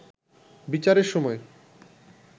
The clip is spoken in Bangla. বিচারের সময়